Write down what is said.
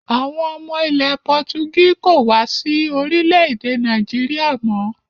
Àwọn ọmọ ilẹ̀ Pọtugí kò wá sí orílẹ̀-èdè Nàìjíríà mọ́